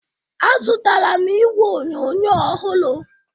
Azụtara m igwe onyonyo ọhụrụ